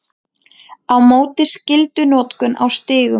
Á móti skyldunotkun á stígum